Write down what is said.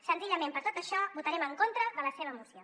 senzillament per tot això votarem en contra de la seva moció